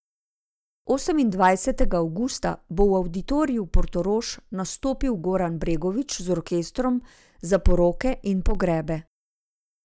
Osemindvajsetega avgusta bo v Avditoriju Portorož nastopil Goran Bregović z Orkestrom za poroke in pogrebe.